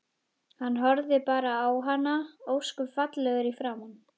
Hann horfði bara á hana, ósköp fallegur í framan.